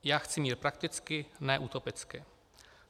Já chci mír prakticky, ne utopicky.